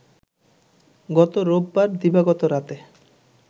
গত রোববার দিবাগত রাতে